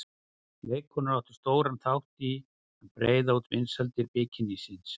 Leikkonur áttu stóran þátt í að breiða út vinsældir bikinísins.